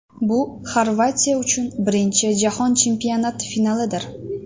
Bu Xorvatiya uchun birinchi Jahon Chempionati finalidir.